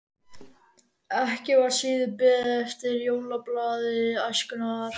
Ekki var síður beðið eftir jólablaði Æskunnar.